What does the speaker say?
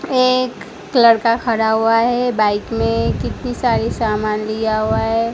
एक लड़का खड़ा हुआ है बाइक में कितनी सारी सामान लिया हुआ है।